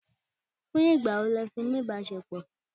Fún ìgbà wo lẹ fi ní ìbáṣepọ̀?